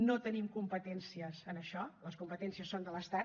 no tenim competències en això les competències són de l’estat